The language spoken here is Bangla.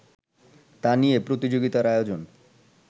তা নিয়ে প্রতিযোগিতার আয়োজন